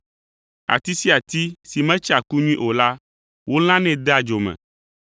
Ati sia ati si metsea ku nyui o la, wolãnɛ dea dzo me,